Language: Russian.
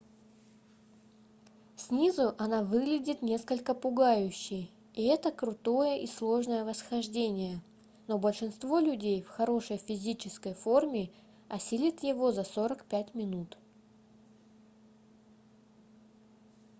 снизу она выглядит несколько пугающе и это крутое и сложное восхождение но большинство людей в хорошей физической форме осилят его за 45 минут